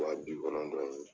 Wa bi kɔnɔntɔn ye